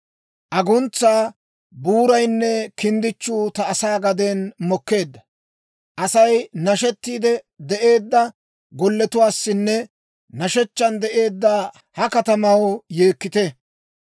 Aguntsaa buuraynne kinddichchuu ta asaa gaden mokkeedda. Asay nashettiide de'eedda golletuwaassinne nashshechchan de'eedda ha katamaw yeekkite.